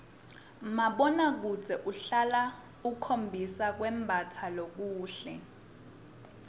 mabonakudze uhlale ukhombisa kwembatsa lokuhle